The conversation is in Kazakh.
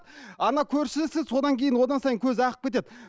ана көршісі содан кейін одан сайын көзі ағып кетеді